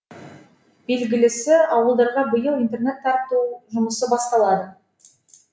белгілісі ауылдарға биыл интернет тарту жұмысы басталады